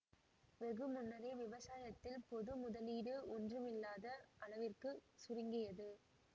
வெகு முன்னரே விவசாயத்தில் பொது முதலீடு ஒன்றுமில்லாத அளவிற்கு சுருங்கியது